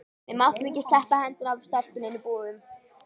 Við máttum ekki sleppa hendinni af stelpunni inni í búðum.